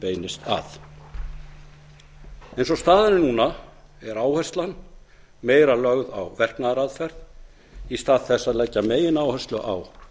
beinist að eins og staðan er núna er áherslan meira lögð á verknaðaraðferð í stað þess að leggja megináherslu á